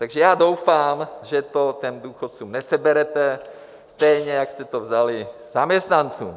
Takže já doufám, že to těm důchodcům neseberete, stejně jako jste to vzali zaměstnancům.